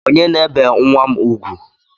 Onye na-ebe nwa m ugwu?